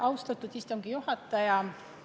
Austatud istungi juhataja!